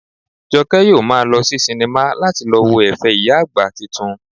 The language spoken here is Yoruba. Jọkẹ́ yóò maa lọ sí sinimá láti lọ wo ẹ̀fẹ̀ ìyá àgbà titun